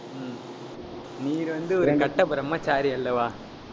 ஹம் நீர் வந்து ஒரு கட்ட பிரம்மச்சாரி அல்லவா